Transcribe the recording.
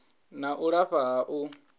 na u lafha ha u